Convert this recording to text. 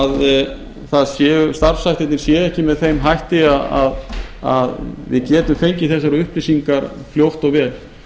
að starfshættirnir séu ekki með þeim hætti að við getum fengið þessar upplýsingar fljótt og vel